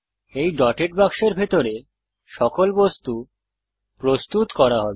এই ডটেড বাক্সের ভিতরে সকল বস্তু প্রস্তুত করা হবে